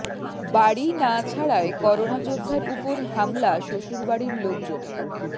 বাড়ি না ছাড়ায় করোনা যোদ্ধার উপর হামলা শ্বশুরবাড়ির লোকজনের